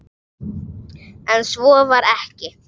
En svo var ekki.